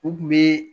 U kun be